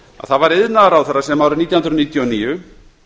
það var iðnaðarráðherra sem árið nítján hundruð níutíu og níu